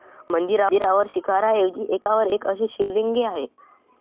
मंदिरावर शिखाराऐवजी एकावर एक अशी शिवलिंगे आहे.